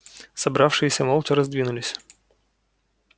собравшиеся молча раздвинулись